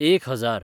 एक हजार